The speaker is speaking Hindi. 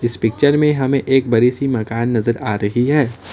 इस पिक्चर में हमें एक बड़ी सी मकान नजर आ रही है।